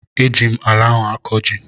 Eji m ala ahụ akọ ji